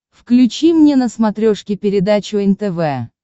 включи мне на смотрешке передачу нтв